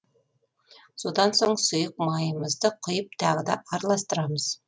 содан соң сұйық майымызды құйып тағы да араластырамыз